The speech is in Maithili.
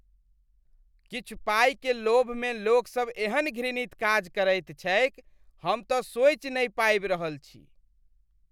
किछु पाइक लोभमे लोकसभ एहन घृणित काज करैत छैक । हम तऽ सोचि नहि पाबि रहल छी।